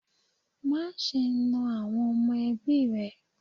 Má ṣe ná àwọn ọmọ ẹbí rẹ.